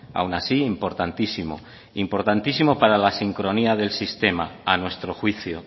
aun así importantísimo importantísimo para la sincronía del sistema a nuestro juicio